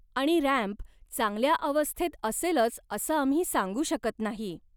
आणि रॅम्प चांगल्या अवस्थेत असेलंच असं आम्ही सांगू शकत नाही.